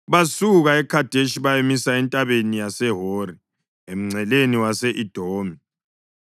Basuka eKhadeshi bayamisa eNtabeni yaseHori, emngceleni wase-Edomi.